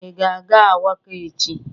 Ị ga-aga Awka echi?